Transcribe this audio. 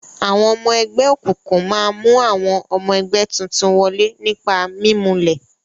Àwọn ọmọ ẹgbẹ́ òkùnkùn máa mú àwọn ọmọ ẹgbẹ́ tuntun wọlé nípa mimulẹ̀.